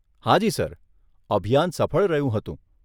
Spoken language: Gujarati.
હાજી સર, અભિયાન સફળ રહ્યું હતું.